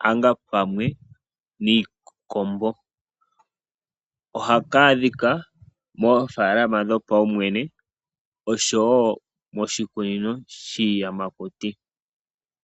konyala pamwe niikombo. Ohaka adhika moofaalama dhopaumwene nosho wo moshikunino shiiyamakuti.